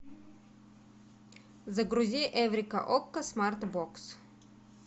загрузи эврика окко смарт бокс